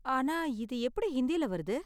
ஆனா இது எப்படி ஹிந்தியில வருது?